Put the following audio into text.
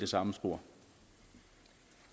samfund